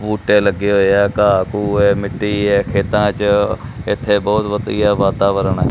ਬੂਟੇ ਲੱਗੇ ਹੋਏ ਹੈਂ ਘਾਹ ਘੂਹ ਹੈ ਮਿੱਟੀ ਹੈ ਖੇਤਾਂ ਚ ਏਹਦੇ ਬੋਹਤ ਵਧੀਆ ਵਾਤਾਵਰਣ ਹੈ।